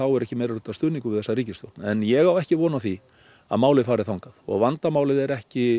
er ekki meirihlutastuðningur við þessa ríkisstjórn en ég á ekki von á því að málið fari þangað vandamálið er ekki